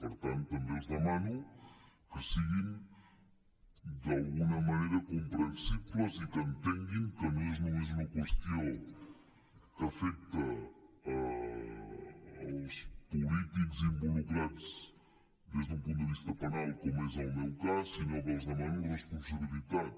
per tant també els demano que siguin d’alguna manera comprensibles i que entenguin que no és només una qüestió que afecta els polítics involucrats des d’un punt de vista penal com és el meu cas sinó que els demano responsabilitat